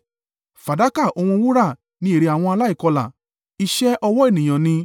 Fàdákà òun wúrà ni èrè àwọn aláìkọlà, iṣẹ́ ọwọ́ ènìyàn ni.